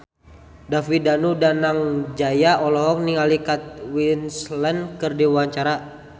David Danu Danangjaya olohok ningali Kate Winslet keur diwawancara